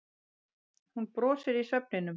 Hún brosir í svefninum.